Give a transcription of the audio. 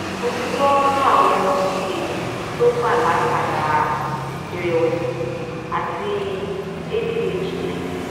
mo ti gbo awon eyan to gba latara irewesi ati adhd